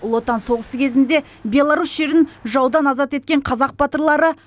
ұлы отан соғысы кезінде беларусь жерін жаудан азат еткен қазақ батырлары